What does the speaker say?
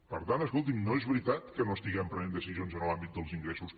per tant escolti’m no és veritat que no estiguem prenent decisions en l’àmbit dels ingressos